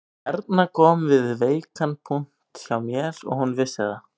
Erna kom við veikan punkt hjá mér og hún vissi það